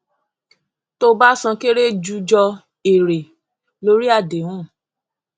tó bá san kere ju jọ èrè lórí àdéhùn